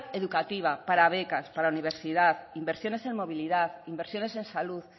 educativa para becas para universidad inversiones en movilidad inversiones en salud